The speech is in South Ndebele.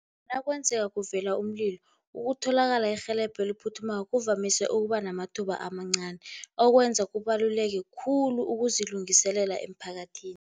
Nakwenzeka kuvela umlilo, ukutholakala irhelebho eliphuthumako kuvamise ukuba namathuba amancani, okwenza kubaluleke khulu ukuzilungiselela emphakathini.